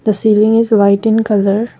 the ceiling is white in colour.